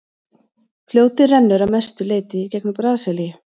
fljótið rennur að mestu leyti í gegnum brasilíu